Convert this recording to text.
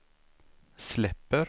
släpper